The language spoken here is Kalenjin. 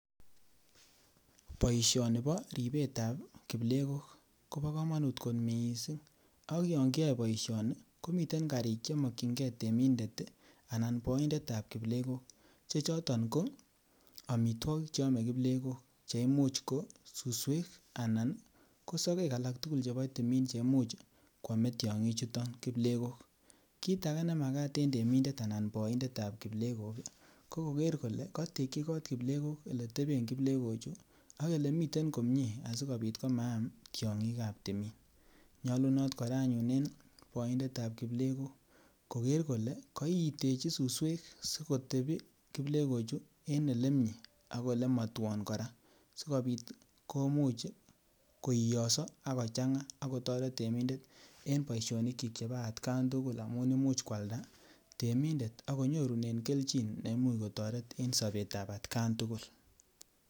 Boishoni boo ribetab kiplekok kobokomonut kot mising, ak yoon kiyoe boishoni komiten karik chemokying'ee temindet anan boindetab kiplekok che choton ko omitwokik cheome kiplekok che imuch ko choton konsusweek anan kosokek alak tukul chebo timiin cheimuch kwomee tiong'ichuton kiplekok, kiit akee nemakat en temindet anan en boindetab kiplekok ko kokeer kolee kotekyi koot kiplekok eletebeen kiplekochu ak elemiten komnyee asikobit ko maam tiong'ik ab timiin, nyolunot kora anyun en boindetab kiplekok kokeer kole koitechi susweek sikotebii kiplekochuu en elemiee ak elemotwon kora sikobiit komuch koiyoso ak kochanga ak kotoret temindet en boishonikyik chebo atkan tukul amun imuuch kwalda temindet akonyorunen kelchin neimuch kotoret en sobetab atkan tukul.